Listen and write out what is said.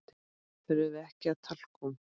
Þurfum við ekki talkúm?